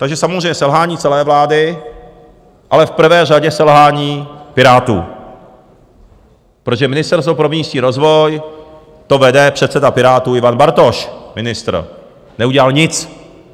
Takže samozřejmě selhání celé vlády, ale v prvé řadě selhání Pirátů, protože Ministerstvo pro místní rozvoj - to vede předseda Pirátů Ivan Bartoš, ministr - neudělal nic!